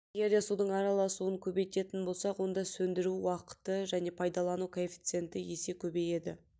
егерде судың араласуын көбейтетін болсақ оны сөндіру уақыты және пайдалану коэффиценті есе көбейеді